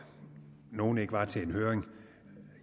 nogle ikke var til en høring